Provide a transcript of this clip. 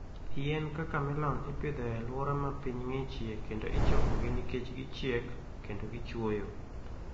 Yien kaka melon ipidho e alwora ma piny ng'ichie kendo ichokogi nikech gichiek kendo gichuoyo.